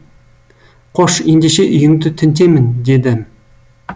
қош ендеше үйіңді тінтемін дедім